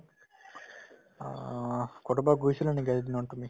অ, ক'ৰবাত গৈছিলা নেকি আজি দিনত তুমি ?